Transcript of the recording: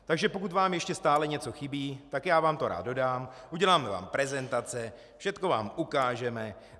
Takže pokud vám ještě stále něco chybí, tak já vám to rád dodám, uděláme vám prezentace, všechno vám ukážeme.